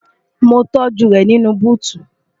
mo tọ́́jú rẹ̀ nínú búùtù